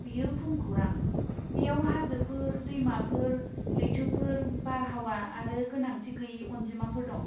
बेयो भुमखौरां! बेयाव हाजोफोर, दैमाफोर, लैथोफोर, बारहावा आरो गोनांथिगैयै अनजिमाफोर दं।